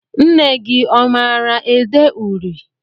Nne gị ọ maara ede uri?